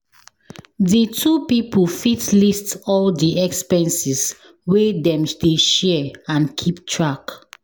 Di two pipo fit list all di expenses wey dem dey share and keep track